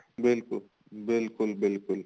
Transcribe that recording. ਬਿਲਕੁਲ ਬਿਲਕੁਲ ਬਿਲਕੁਲ